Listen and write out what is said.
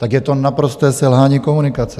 Tak je to naprosté selhání komunikace!